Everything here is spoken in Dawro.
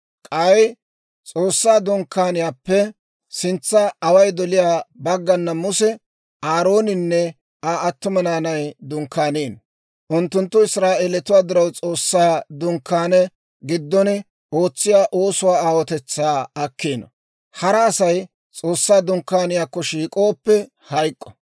K'ay S'oossaa Dunkkaaniyaappe sintsa away doliyaa baggana Muse, Aarooninne Aa attuma naanay dunkkaaniino. Unttunttu Israa'eelatuwaa diraw S'oossaa Dunkkaane giddon ootsiyaa oosuwaa aawotetsaa akkiino. Hara Asay S'oossaa Dunkkaaniyaakko shiik'ooppe, hayk'k'o.